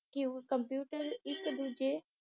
ਕਿਉ computer ਇਕ ਦੂਜੇ